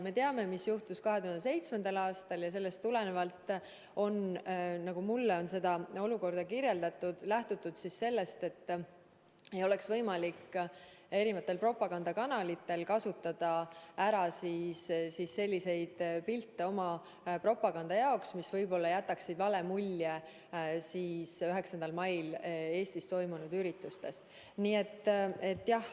Me teame, mis juhtus 2007. aastal, ja sellest tulenevalt, nagu mulle on olukorda kirjeldatud, on lähtutud sellest, et propagandakanalitel ei oleks võimalik teha oma propaganda jaoks selliseid pilte, mis jätaksid 9. mail Eestis toimunud üritustest vale mulje.